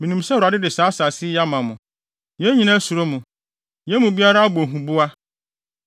“Minim sɛ Awurade de saa asase yi ama mo. Yɛn nyinaa suro mo. Yɛn mu biara abɔ huboa.